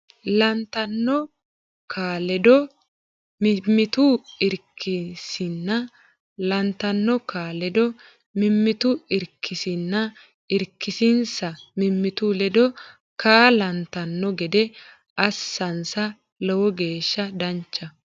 lantanno kaa ledo mimmitu irkisinsa lantanno kaa ledo mimmitu irkisinsa irkisinsa mimmitu ledo kaa lantanno gede assinsa Lowo geeshsha danchaho !